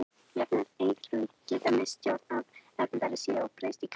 Jafnvel einfrumungar geta misst stjórn á erfðaefni sínu og breyst í krabbamein.